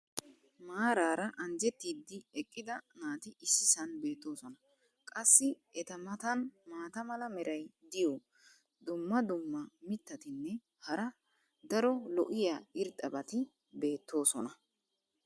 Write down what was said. maaraara anjjetidi eqqida naati issisan beetoosona. qassi eta matan maata mala meray diyo dumma dumma mitatinne hara daro lo'iya irxxabati beetoosona.